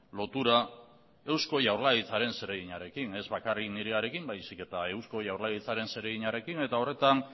lotura eusko jaurlaritzaren zereginarekin ez bakarrik nirearekin baizik eta eusko jaurlaritzaren zereginarekin eta horretan